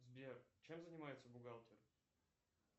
сбер чем занимается бухгалтер